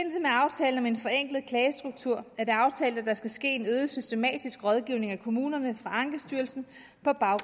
aftalen om en forenklet klagestruktur er det aftalt at der skal ske en øget systematisk rådgivning af kommunerne fra ankestyrelsen